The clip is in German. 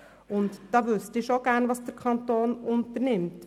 Ich möchte schon gerne wissen, was der Kanton diesbezüglich zu tun gedenkt.